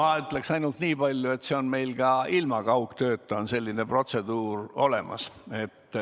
No ma ütleksin niipalju, et meil on ka ilma kaugtööta selline protseduur olemas.